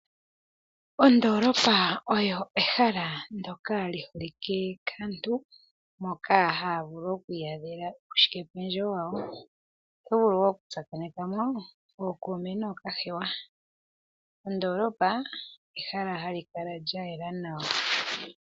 Ondolopa olyo ehala ndyoka liholike kaantu moka haya vulu okwi adhela mo uushike pendjewo wawo, otovulu okutsakaneka mo ookuume nookahewa. Ondolopa ehala hali kala lyayela nawa.